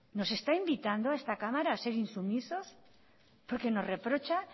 nos está invitando a esta cámara a ser insumisos porque nos reprocha